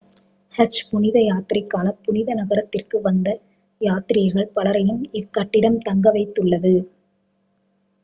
ஹஜ் புனித யாத்திரைக்காக புனித நகரத்திற்கு வந்த யாத்ரீகர்கள் பலரையும் இக்கட்டிடம் தங்கவைத்துள்ளது